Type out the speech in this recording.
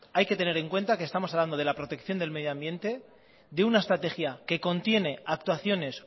hay que tener en cuenta que estamos hablando de la protección del medio ambiente de una estrategia que contiene actuaciones